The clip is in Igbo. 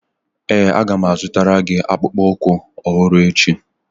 Ee, Aga m azụtara gị akpụkpọ ụkwụ ọhụrụ echi